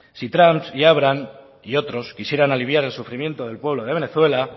si trump y abrams y otros quisieran aliviar el sufrimiento del pueblo de venezuela